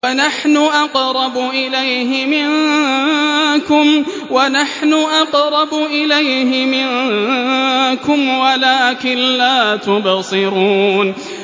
وَنَحْنُ أَقْرَبُ إِلَيْهِ مِنكُمْ وَلَٰكِن لَّا تُبْصِرُونَ